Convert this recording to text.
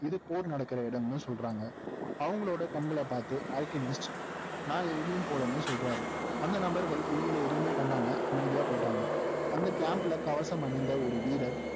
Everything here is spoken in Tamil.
இது போர் நடக்கிற இடம்னு சொல்றாங்க அவங்களோட கண்களைபார்த்து அல்கெமிஸ்ட் நான் எங்கேயும் போகலைன்னு சொல்றாரு அந்த நபர்கள் இவங்களை எதுவுமே பண்ணாம அமைதியா போயிட்டாங்க அந்த camp ல கவசம் அணிந்த ஒரு வீரர்